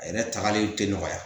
A yɛrɛ tagali tɛ nɔgɔya